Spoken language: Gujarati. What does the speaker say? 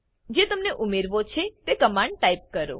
જે તમને ઉમેરવો છે તે કમાંડ ટાઈપ કરો